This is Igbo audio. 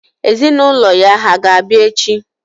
Ezinụlọ ya hà ga-abịa echi?